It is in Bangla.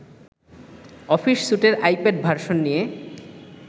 অফিস স্যুটের আইপ্যাড ভার্সন নিয়ে